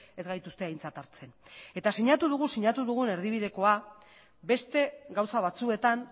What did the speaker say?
ez gaituzte aintzat hartzen eta sinatu dugu sinatu dugun erdibidekoa beste gauza batzuetan